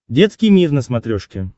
детский мир на смотрешке